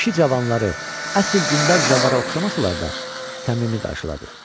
Kişi cavanları, əsl dindar zəvvara oxşamasalar da, səmimi qarşıladı.